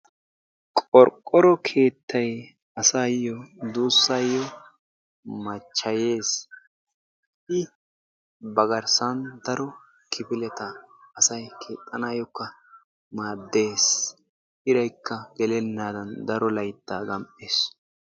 Qorqqoro keettay asaayoo duusayoo machchayees. i ba garssaan daro kifileta asay keexxanayookka maaddees. iraykka gelenaadan daro layttaa gam"ees.